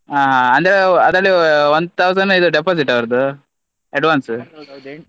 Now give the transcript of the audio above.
ಹಾ ಹಾ ಅಂದ್ರೆ ಅದ್ರಲ್ಲಿ one thousand deposit ಆ ಅವ್ರದ್ದು advance ?